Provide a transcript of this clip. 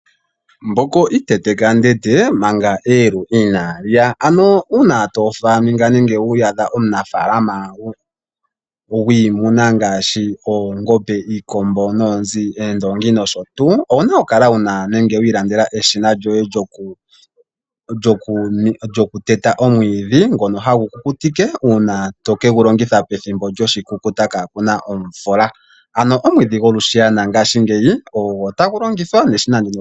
Mbuku iteteka denge manga eyelu inali ya, kehe onuniimuna okuna oku kala ilongekidhila iilongitho mbyoka yoku teta omwiithi. Ngoka to vulu oku kukutika, opo gu longithwe pethimbo lyoshikukuta opo imuna yipaluke